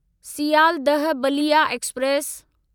Sealdah Ballia express